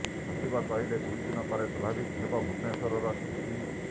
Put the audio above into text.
ସଚିବ କହିଲେ ଦୁଇ ଦିନ ପରେ ସ୍ୱାଭାବିକ ହେବ ଭୁବନେଶ୍ୱରର ସ୍ଥିତି